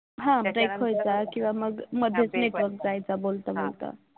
हा मग एक व्हायचा किंवा मग मध्येच network जायचं बोलता बोलता